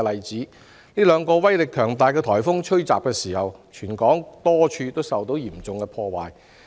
在兩個威力強大的颱風襲港期間，全港多處地方受到嚴重破壞。